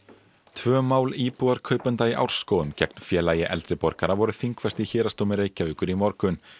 tvö mál íbúðarkaupenda í Árskógum gegn Félagi eldri borgara voru þingfest í Héraðsdómi Reykjavíkur í morgun